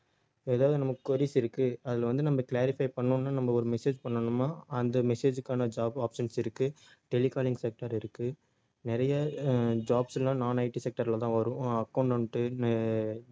ஏதாவது நமக்கு queries இருக்கு அதுல வந்து நம்ம clarify பண்ணணும்னா நம்ம ஒரு message பண்ணணும்னா அந்த message க்கான job options இருக்கு telecalling sector இருக்கு நிறைய அஹ் jobs எல்லாம் nonITsector லதான் வரும் அஹ் accountant அஹ்